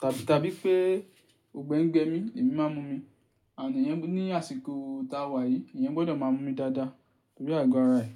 tàbí tàbí pé ọ̀gbẹ́ ń gbe mi, èmi máa ń mu omi. Àní ẹniyan ní àsìkò tá a wà yìí, èèyàn gbọ́dọ̀ máa mú omi dáadáa torí àgọ́ ara ẹ̀.